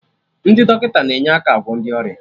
Ndị dọkịta na-enye aka agwọ ndị ọrịa